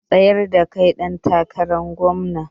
Mun tsayar da kai ɗan takarar gomna